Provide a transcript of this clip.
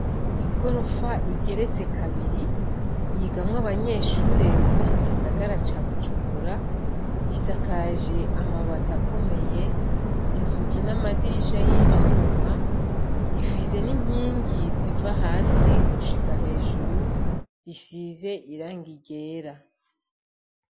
Igorofa igeretse kabiri, yigamwo abanyeshure bo mu gisagara ca Bujumbura, isakaje amabati akomeye, inzugi n'amadirisha yivyuma ifise n'inkingi ziva hasi gushika hejuru isize n'irangi ryera.